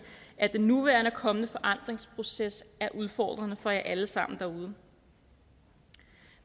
at den nuværende og kommende forandringsproces er udfordrende for jer alle sammen